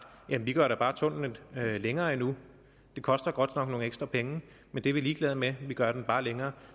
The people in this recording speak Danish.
jamen vi gør da bare tunnelen længere endnu det koster godt nok nogle ekstra penge men det er vi ligeglade med vi gør den bare længere